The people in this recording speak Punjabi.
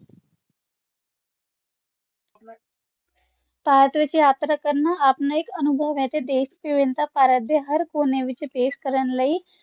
ਭਾਰਤ ਵਿਚ ਯਾਤਰਾ ਕਰਨਾ ਆਪਣਾ ਇਕ ਅਨੁਭਵ ਹੈ ਤੇ ਦੇਸ਼ ਦੇ ਭਾਰਤ ਦੇ ਹਰ ਕੋਨੇ ਵਿਚ ਪੇਸ਼ ਕਰਨ ਲਈ